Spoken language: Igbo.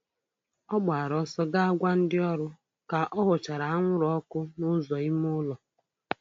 Ọ gbara ọsọ ga gwa ndị ọrụ ka ọ hụchara anwụrụ ọkụ n'ụzọ ime ụlọ.